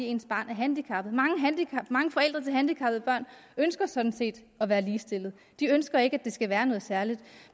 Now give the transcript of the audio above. ens barn er handicappet mange forældre til handicappede børn ønsker sådan set at være ligestillet de ønsker ikke at det skal være noget særligt